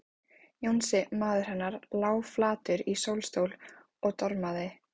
Jónsi, maðurinn hennar, lá flatur í sólstól og dormaði.